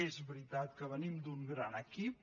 és veritat que venim d’un gran equip